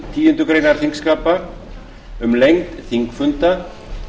tíundu greinar þingskapa um lengd þingfunda